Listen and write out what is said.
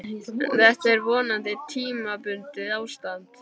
En þetta er vonandi tímabundið ástand.